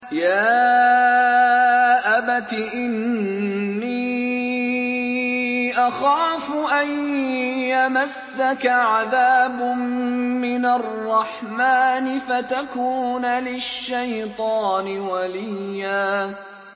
يَا أَبَتِ إِنِّي أَخَافُ أَن يَمَسَّكَ عَذَابٌ مِّنَ الرَّحْمَٰنِ فَتَكُونَ لِلشَّيْطَانِ وَلِيًّا